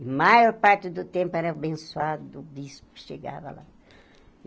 Maior parte do tempo era o abençoado do bispo que chegava lá.